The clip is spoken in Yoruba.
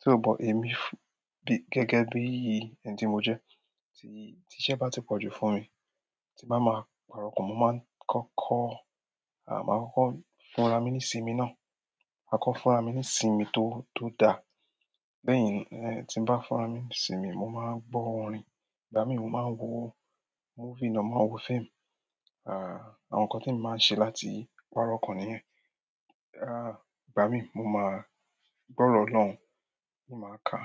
Só buh èmi gẹ́gẹ́ bí èyan tí mo jẹ́, tí iṣẹ́ bá ti pọ̀jù fún mi, tí bá máa pàrọ̀ ọkàn, mo máa ń kọ́kọ́, à, máa kọ́kọ́ fúnra mí ní sinmi náà. Máa kọ́ fúnra mí ní sinmi tó, tó dá. Bẹ́ẹ̀ yen, tí mo bá fúnra mí ní sinmi, mo máa ń gbọ́ orin. Ìgbà mí mo máa ń wo movie náà, máa wo film. À, àwọn nǹkan tí mo máa ń ṣe láti pàrọ̀ ọkàn nìyẹn. À, ìgbà mí mo máa gbọ́ ọ̀rọ̀ ọlọ́run, mo máa ka.